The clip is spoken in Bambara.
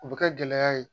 O bɛ kɛ gɛlɛya ye